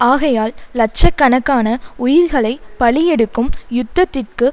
ஆகையால் இலட்ச கணக்கான உயிர்களை பலி எடுக்கும் யுத்தத்திற்கு